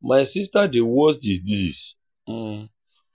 my sister dey wash the dishes